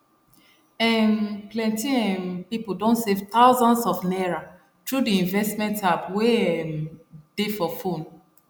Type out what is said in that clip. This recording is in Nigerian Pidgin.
um plenty um people don save thousands of naira through the investment app wey um dey for phone